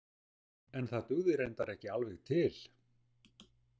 En það dugði reyndar ekki alveg til.